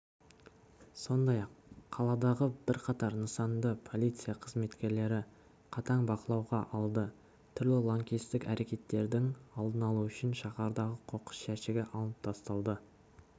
сондай-ақ қаладағы бірқатар нысанды полиция қызметкерлері қатаң бақылауға алды түрлі лаңкестік әрекеттердің алдын алу үшін шаһардағы қоқыс жәшігі алынып тасталды